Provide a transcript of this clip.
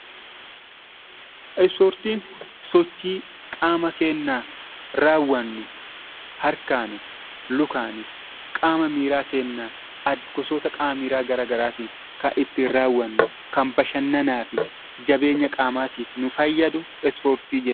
Ispoortiin sochii qaama keennaa raawwannu, harkaanis, lukaanis, qaama miiraa keennaan, gosoota qaama miiraa gara garaatiin kan ittiin raawwannu, kan bashannanaa fi jabeenya qaamaatiif nu fayyadu ispoortii jenna.